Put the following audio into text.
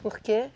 Por quê?